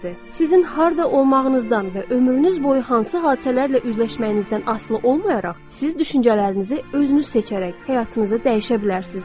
Sizin harda olmağınızdan və ömrünüz boyu hansı hadisələrlə üzləşməyinizdən asılı olmayaraq, siz düşüncələrinizi özünüz seçərək həyatınızı dəyişə bilərsiz.